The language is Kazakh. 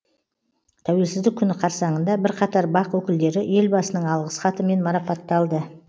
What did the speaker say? тәуелсіздік күні қарсаңында бірқатар бақ өкілдері елбасының алғыс хатымен марапатталды